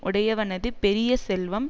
உடையவனது பெரிய செல்வம்